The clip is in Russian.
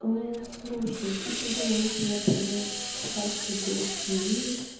слушай ты всегда можешь меня поймать с часу до семи